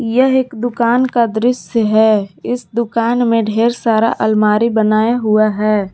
यह एक दुकान का दृश्य है इस दुकान में ढेर सारा अलमारी बनाया हुआ है।